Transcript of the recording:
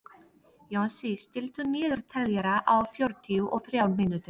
Jónsi, stilltu niðurteljara á fjörutíu og þrjár mínútur.